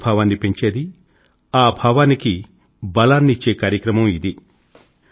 ఐకమత్య భావాన్ని పెంచేది ఆ భావానికీ బలాన్నిచ్చే కార్యక్రమం ఇది